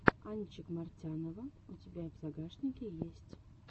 анчик мартянова у тебя в загашнике есть